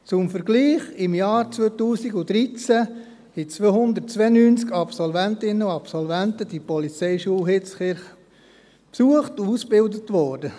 Zum Vergleich: Im Jahr 2013 besuchten 292 Absolventinnen und Absolventen die Ausbildung an der IPH.